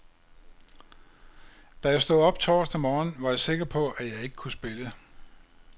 Da jeg stod op torsdag morgen, var jeg sikker på, at jeg ikke kunne spille.